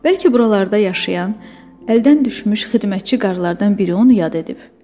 Bəlkə buralarda yaşayan, əldən düşmüş xidmətçi qadınlardan biri onu yad edib.